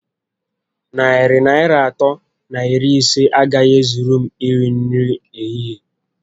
Narị Naịra atọ na iri ise a gaghị ezuru m iri nri ehihie